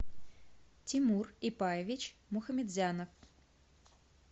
тимур ипаевич мухамедзянов